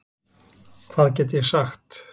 Hvað get ég sagt?